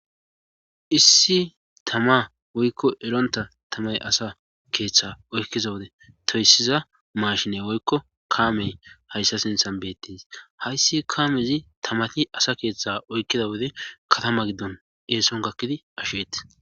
Issi tama woykko eronta tamay asa keeththe oykkiza wode toyssiza mashine woykko kaamey hayssa sinthan beettis hayssi kaamezi tamati asa keeththa oykkida wode katama giddon eeson gakkidi asheeti.